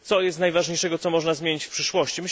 Co jest najważniejsze, co można zmienić w przyszłości?